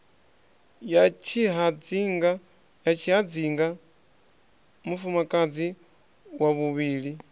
ya tshihadzinga mufumakadzi wa vhuvhili